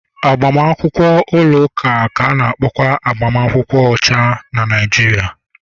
Agbamakwụkwọ ụlọ ụka ka a na-akpọkwa agbamakwụkwọ ọcha na Naijiria